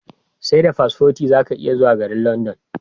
Seda paspoti zaka iya zuwa garin London